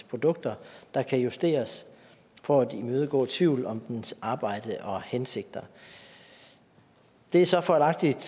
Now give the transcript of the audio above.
produkter der kan justeres for at imødegå tvivl om dens arbejde og hensigter det er så fejlagtigt